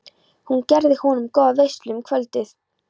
Hún gerði honum góða veislu um kvöldið.